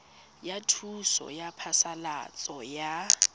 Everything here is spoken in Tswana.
ya thuso ya phasalatso ya